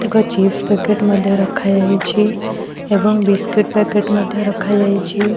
ଏକ chips packet ମଧ୍ୟ ରଖାଯାଇଛି ଏବଂ ବିସ୍କିଟ୍ ପେକେଟ ମଧ୍ୟ ରଖାଯାଇଛି।